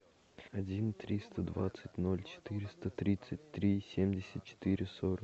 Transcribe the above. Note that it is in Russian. один триста двадцать ноль четыреста тридцать три семьдесят четыре сорок